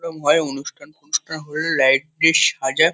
ওরম হয় অনুষ্ঠান |অনুষ্ঠান হয়ে লাইট -টি সাজা --